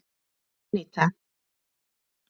Aníta